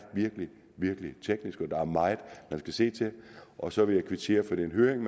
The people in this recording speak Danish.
teknisk og der er meget man skal se til og så vil jeg kvittere for den høring